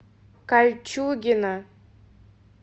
кольчугино